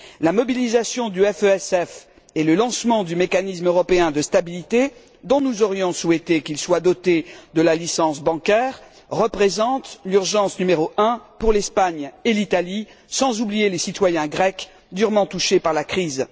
La mobilisation du FESF et le lancement du mécanisme européen de stabilité, dont nous aurions souhaité qu'il soit doté de la licence bancaire, représentent l'urgence n° 1 pour l'Espagne et l'Italie, sans oublier les citoyens grecs durement touchés par la crise.